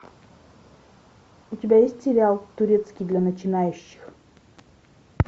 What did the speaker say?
у тебя есть сериал турецкий для начинающих